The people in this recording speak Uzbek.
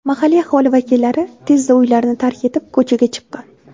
Mahalliy aholi vakillari tezda uylarni tark etib, ko‘chaga chiqqan.